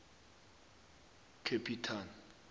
capital